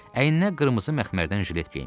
Əyninə qırmızı məxmərdən jilet geyinmişdi.